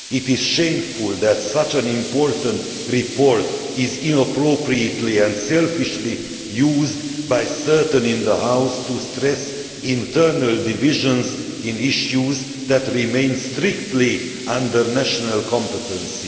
It is shameful for such an important report to be inappropriately and selfishly used by some in this House to stress internal divisions in issues that remain strictly under national competency.